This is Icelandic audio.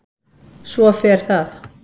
Svo fer það.